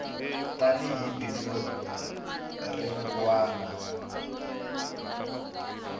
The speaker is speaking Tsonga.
tani hi bindzu rin wana